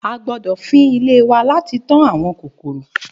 A gbódọ̀ fín ilé wa láti tán àwọn kòkòrò.